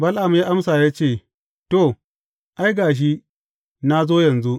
Bala’am ya amsa ya ce, To, ai, ga shi, na zo yanzu.